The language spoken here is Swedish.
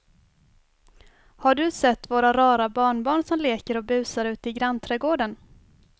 Har du sett våra rara barnbarn som leker och busar ute i grannträdgården!